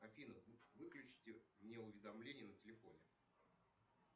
афина выключите мне уведомления на телефоне